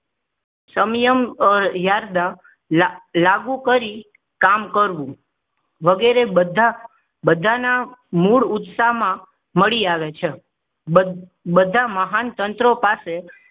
સમયમ યારધ લાગુ કરી કામ કરવું વગેરે બધા બધાના મૂળ ઉત્સાહમાં મળી આવે છે બધા મહાન તંત્રો પાસે